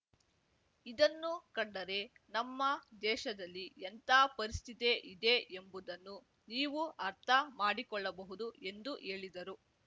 ಇದನ್ನು ಕಂಡರೆ ನಮ್ಮ ದೇಶದಲ್ಲಿ ಎಂಥ ಪರಿಸ್ಥಿತಿ ಇದೆ ಎಂಬುದನ್ನು ನೀವು ಅರ್ಥ ಮಾಡಿಕೊಳ್ಳಬಹುದು ಎಂದು ಹೇಳಿದರು